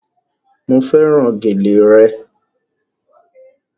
Mo fẹ́ràn gèlè re